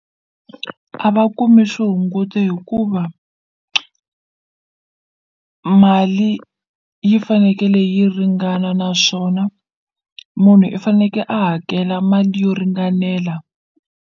A va kumi swihunguto hikuva mali yi fanekele yi ringana naswona munhu i faneke a hakela mali yo ringanela.